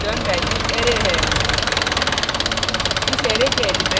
इस फंक्शन की return value array है